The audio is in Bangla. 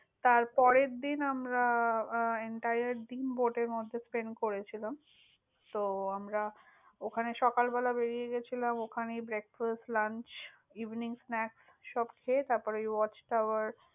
তার পরের দিন আমরা আহ entire দিন bote এর মধ্যে spent করেছিলাম। তো আমরা ওখানে সকালবেলা বেরিয়ে গেছিলাম। ওখানেই breakfast, launch, evening, snakes, সব খেয়ে তারপরে, ঐ watch tower